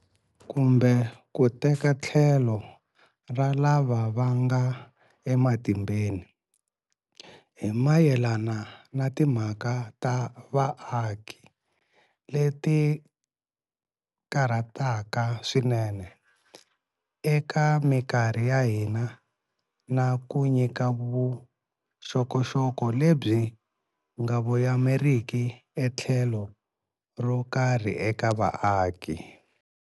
Kumbe ku teka tlhelo ra lava va nga ematimbeni, hi mayelana na timhaka ta vaaki leti karhataka swinene eka mikarhi ya hina, na ku nyika vuxokoxoko lebyi nga voyameriki etlhelo ro karhi eka vaaki.